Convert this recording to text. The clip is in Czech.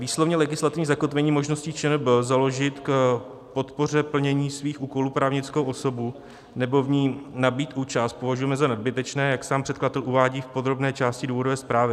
Výslovně legislativní zakotvení možností ČNB založit k podpoře plnění svých úkolů právnickou osobu nebo v ní nabýt účast považujeme za nadbytečné, jak sám předkladatel uvádí v podrobné části důvodové zprávy.